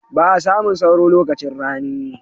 Ba'a samun sauro lokacin rani.